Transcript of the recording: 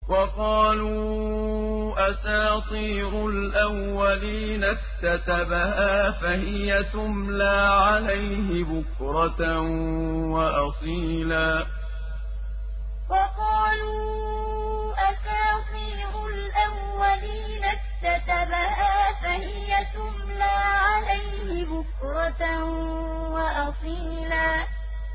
وَقَالُوا أَسَاطِيرُ الْأَوَّلِينَ اكْتَتَبَهَا فَهِيَ تُمْلَىٰ عَلَيْهِ بُكْرَةً وَأَصِيلًا وَقَالُوا أَسَاطِيرُ الْأَوَّلِينَ اكْتَتَبَهَا فَهِيَ تُمْلَىٰ عَلَيْهِ بُكْرَةً وَأَصِيلًا